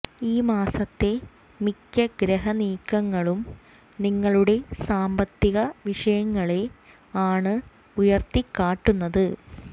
ഈ മാസത്തെ മിക്ക ഗ്രഹ നീക്കങ്ങളും നിങ്ങളുടെ സാമ്പത്തിക വിഷയങ്ങളെ ആണ് ഉയർത്തിക്കാട്ടുന്നത്